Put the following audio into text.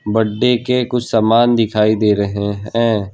बड्डे के कुछ सामान दिखाई दे रहें हैं।